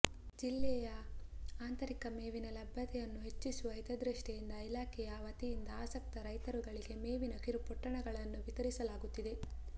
ಜಿಲ್ಲೆಯ ಅಂತರಿಕ ಮೇವಿನ ಲಬ್ಯತೆಯನ್ನು ಹೆಚ್ಚಿಸುವ ಹಿತಧೃಷ್ಟಿಯಿಂದ ಇಲಾಖೆಯ ವತಿಯಿಂದ ಆಸಕ್ತ ರೈತರುಗಳಿಗೆ ಮೇವಿನ ಕಿರುಪೊಟ್ಟಣಗಳನ್ನು ವಿತರಿಸಲಾಗುತ್ತಿದೆ